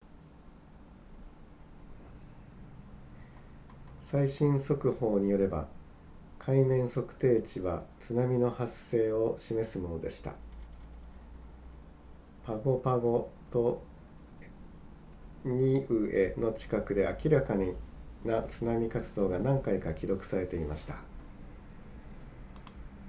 最新速報によれば海面測定値は津波の発生を示すものでしたパゴパゴとニウエの近くで明らかな津波活動が何回か記録されていました